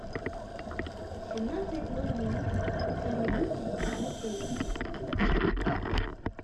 в семнадцать ноль ноль замьють на телике